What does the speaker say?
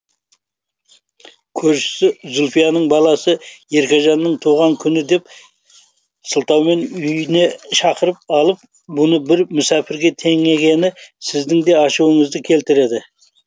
көршісі зульфияның баласы еркежанның туған күні деп сылтаумен үйіне шақырып алып бұны бір мүсәпірге теңегені сіздін де ашуыңызды келтіреді